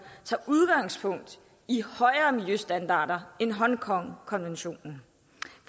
tager udgangspunkt i højere miljøstandarder end hongkongkonventionen